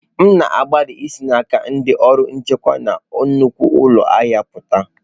M na-agbalị isi n'aka ndị ọrụ nchekwa na nnukwu ụlọ ahịa pụta.